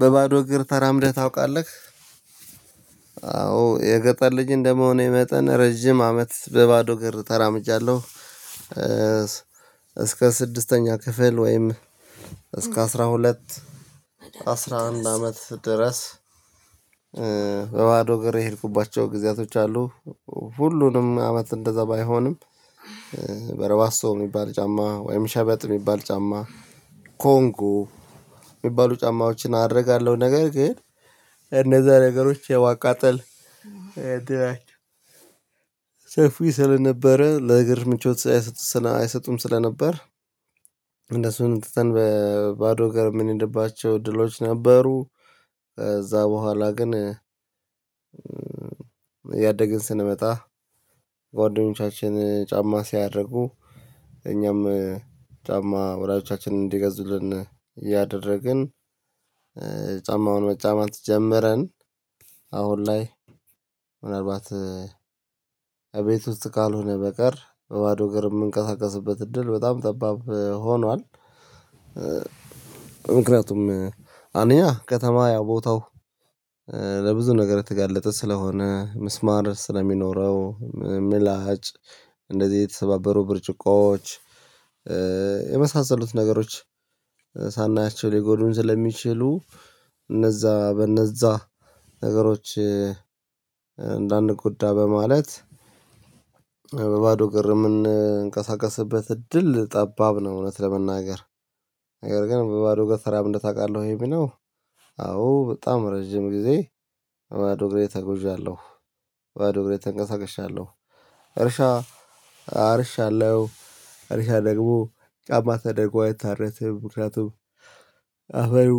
በባዶ እግር ተራምደህ ታውቃለህ? አዎ የገጠር ልጅ እንደመሆኔ መጠን ረጅም አመት በባዶ እግር ተራምጃለሁ። እስከ ስድስተኛ ክፍል ወይም እስከ አስራ ሁለት አስራ አንድ አመት ድረስ። በባዶ እግሬ የሄድኩባቸው ጊዜያቶች አሉ። ሁሉንም አመት እንደዛ ባይሆንም። በረባሶ የሚባል ጫማ ወይም ሸበጥ የሚባል ጫማ። ኮንጎ የሚባሉ ጫማዎችን አደርጋለሁ ነገር ግን እነዛ ነገሮች የማቃጠል እድላቸው ሰፊ ስለነበረ ለእግር ምቾት አይሰጡም ስለነበር። እነሱን ትተን በባዶ እግር የምንሄድባቸው እድሎች ነበሩ። ከዛ በኋላ ግን እያደግን ስንመጣ ጓደኞቻችን ጫማ ሲያደርጉ እኛም ጫማ ወላጆቻችን እንዲገዙልን እያደረግን ጫማውን መጫማት ጀምረን። አሁን ላይ ምናልባት እቤት ውስጥ ካልሆነ በቀር በባዶ እግር የምንቀሳቀስበት እድል በጣም ጠባብ ሆኗል። ምክንያቱም አንደኛ ከተማ ያ ቦታው ለብዙ ነገር የተጋለጠ ስለሆነ ምስማር ስለሚኖረው ምላጭ እንደዚህ የተሰባበሩ ብርጭቆዎች የመሳሰሉት ነገሮች ሳናያቸው ሊጎዱን ስለሚችሉ እነዛ በእነዛ ነገሮች እንዳንጎዳ በማለት። በባዶ ግር የምንንቀሳቀስበት እድል ጠባብ ነው። እውነት ለመናገር ነገር ግን በባዶ እግር ተራምደህ ታውቃለህ? ወይ የሚለው አዎ በጣም ረጅም ጊዜ በባዶ እግሬ ተጉዣለሁ። በባዶ እግሬ ተንቀሳቀሻለሁ። እርሻ አርሻለው እርሻ ደግሞ ጫማ ተደርጎ አይታረስም። ምክንያቱም አፈሩ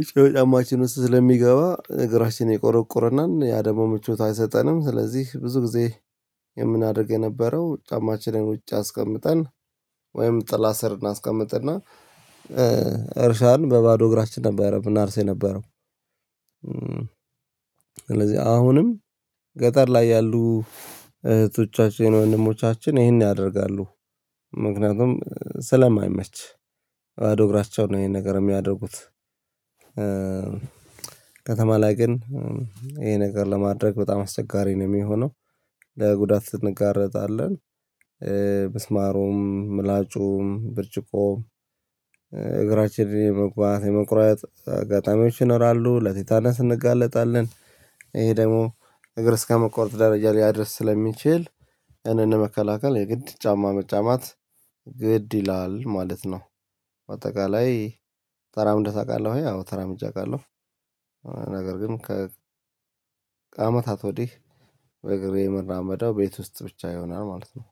በጫማችን ውስጥ ስለሚገባ እግራችን ይቆረቁርናል ያ ደግሞ ምቾት አይሰጠንም። ስለዚህ ብዙ ጊዜ የምናደርግ የነበረው ጫማችንን ውጭ አስቀምጠን ወይም ጥላ ስር እናስቀምጥና እርሻን በባዶ እግራችን ነበረ ምናርሰው የነበረው። ስለዚህ አሁንም ገጠር ላይ ያሉ እህቶቻችን ወንድሞቻችን ይሄን ያደርጋሉ። ምክንያቱም ስለማይመች ባዶ እግራቸውን ነው ይሄን ነገር የሚያደርጉት። ከተማ ላይ ግን ይሄ ነገር ለማድረግ በጣም አስቸጋሪ ነው የሚሆነው። ለጉዳት እንጋረጣለን ብስማሩም ምላጩም ብርጭቆ እግራችንን የመግባት የመቁረጥ አጋጣሚዎች ይኖራሉ ለቲታነስ እንጋለጣለን። ይሄ ደግሞ እግር እስከመቆረጥ ደረጃ ሊያደርስ ስለሚችል ያንን ለመከላከል የግድ ጫማ መጫማት ግድ ይላል ማለት ነው። በአጠቃላይ ተራምደህ ታውቃለህ ወይ? አወ ተራምጄ አውቃለሁ። ነገር ግን ከአመታት ወዲህ በእግሬ ምራመደው ቤት ውስጥ ብቻ ይሆናል ማለት ነው